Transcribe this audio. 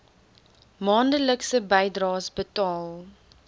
maandelikse bydraes betaal